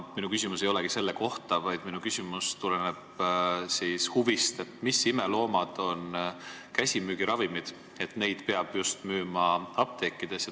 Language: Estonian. Minu küsimus ei olegi selle kohta, vaid tuleneb huvist, mis imeloomad on käsimüügiravimid, et neid peab müüma just apteekides.